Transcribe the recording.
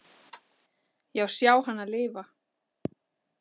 Já, sjá hana lifa.